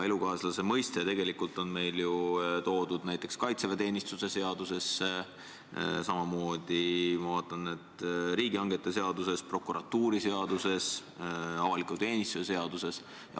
Elukaaslase mõiste on meil ju toodud näiteks kaitseväeteenistuse seadusesse, samamoodi, ma vaatan, on see riigihangete seaduses, prokuratuuriseaduses, avaliku teenistuse seaduses.